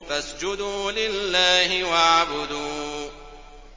فَاسْجُدُوا لِلَّهِ وَاعْبُدُوا ۩